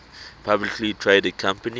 publicly traded companies